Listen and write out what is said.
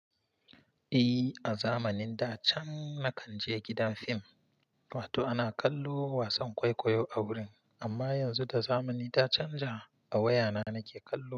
Eh, a zamanin da can na kan je gidan fim, wato ana kallo wasan kwaikwayo a wurin. Amma yanzu da zamani ta canja, a waya na nake kallo.